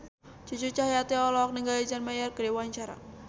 Cucu Cahyati olohok ningali John Mayer keur diwawancara